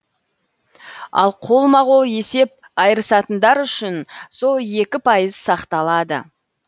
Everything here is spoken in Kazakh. ал қолма қол есеп айырысатындар үшін сол екі пайыз сақталады